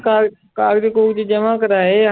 ਕਾ ਕਾਗਜ਼ ਕੂਗਜ਼ ਜਮਾ ਕਰਵਾਏ ਆ।